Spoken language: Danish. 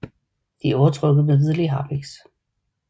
De er overtrukket med hvidlig harpiks